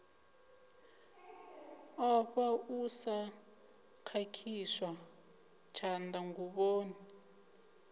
ofha u sa khakhiswa tshanḓanguvhoni